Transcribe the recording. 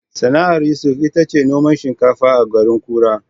Sana'ar Yusuf ita ce noman shinkafa a garin Kura.